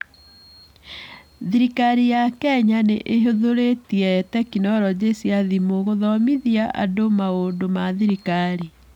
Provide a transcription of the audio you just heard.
Thirikari ya Kenya nĩ ĩhũthĩrĩte tekinoronjĩ cia thimũ gũthomithia andũ maũndũ ma thirikari.